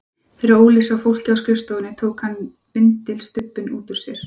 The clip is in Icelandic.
Þegar Óli sá fólkið á skrifstofunni tók hann vindilstubbinn út úr sér.